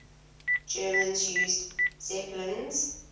germans used zeppelins